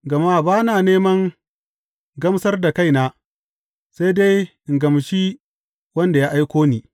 Gama ba na neman gamsar da kaina, sai dai in gamshi shi wanda ya aiko ni.